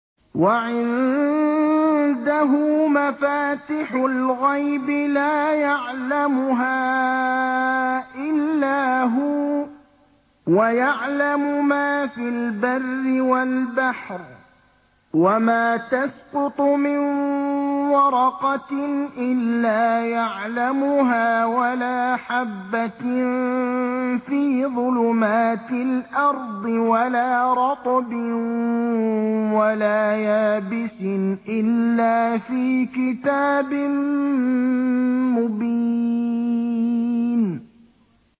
۞ وَعِندَهُ مَفَاتِحُ الْغَيْبِ لَا يَعْلَمُهَا إِلَّا هُوَ ۚ وَيَعْلَمُ مَا فِي الْبَرِّ وَالْبَحْرِ ۚ وَمَا تَسْقُطُ مِن وَرَقَةٍ إِلَّا يَعْلَمُهَا وَلَا حَبَّةٍ فِي ظُلُمَاتِ الْأَرْضِ وَلَا رَطْبٍ وَلَا يَابِسٍ إِلَّا فِي كِتَابٍ مُّبِينٍ